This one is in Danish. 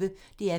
DR P1